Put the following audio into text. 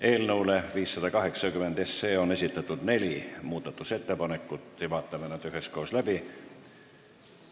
Eelnõu 580 muutmiseks on esitatud neli ettepanekut, vaatame need üheskoos läbi.